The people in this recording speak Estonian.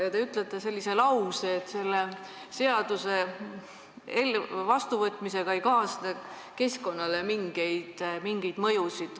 Te aga ütlesite sellise lause, et selle seaduse vastuvõtmisega ei kaasne keskkonnale mingeid mõjusid.